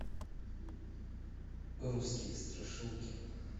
русские страшилки